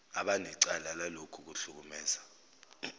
abanecala lalokhu kuhlukumeza